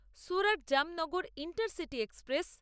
Surat-Jamnagar intercity express